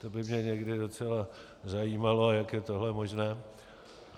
To by mě někdy docela zajímalo, jak je tohle možné.